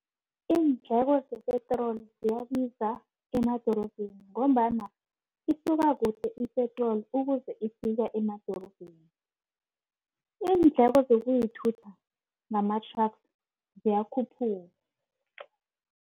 Iindleko zepetroli ziyabiza emadorobheni ngombana isuka kude ipetroli ukuze ifika emadorobheni. Iindleko zokuyithutha ngamathraga ziyakhuphuka.